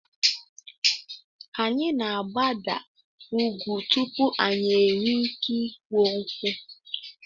Anyị na-agbada ugwu tupu anyị enwee ike ịkwọ nkụ.